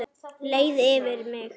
Leið yfir mig?